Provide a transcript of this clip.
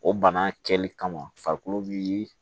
O bana kɛli kama farikolo bi